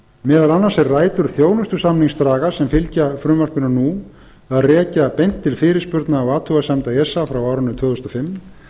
meðal annars eru rætur þjónustusamningsdraga sem fylgja frumvarpinu nú að rekja beint til fyrirspurna og athugasemda esa frá árinu tvö þúsund og fimm